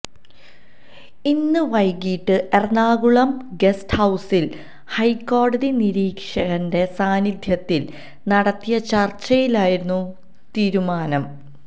ഇന്ന് വൈകിട്ട് എറണാകുളം ഗസ്റ്റ് ഹൌസിൽ ഹൈക്കോടതി നിരീക്ഷകന്റെ സാന്നിധ്യത്തിൽ നടത്തിയ ചർച്ചയിലായിരുന്നു തീരുമാനം